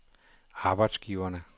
arbejdsgiverne